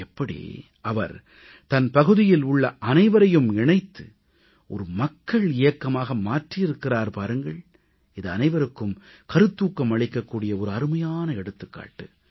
எப்படி அவர் தன் பகுதியில் உள்ள அனைவரையும் இணைத்து மக்கள் இயக்கமாக மாற்றியிருக்கிறார் பாருங்கள் இது அனைவருக்கும் கருத்தூக்கம் அளிக்கக் கூடிய அருமையான எடுத்துக்காட்டு